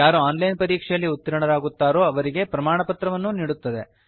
ಯಾರು online ಪರೀಕ್ಷೆಯಲ್ಲಿ ಉತೀರ್ಣರಾಗುತ್ತಾರೋ ಅವರಿಗೆ ಪ್ರಮಾಣಪತ್ರವನ್ನೂ ನೀಡುತ್ತದೆ